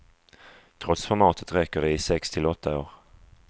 Trots formatet räcker det i sex till åtta år.